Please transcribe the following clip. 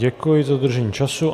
Děkuji za dodržení času.